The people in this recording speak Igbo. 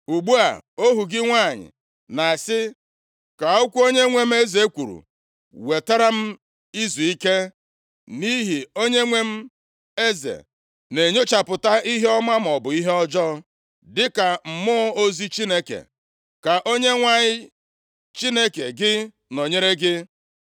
“Ugbu a, ohu gị nwanyị na-asị, ‘Ka okwu onyenwe m eze kwuru wetara m izuike, nʼihi onyenwe m eze na-enyochapụta ihe ọma maọbụ ihe ọjọọ dịka mmụọ ozi Chineke. Ka Onyenwe anyị Chineke gị nọnyere gị.’ ”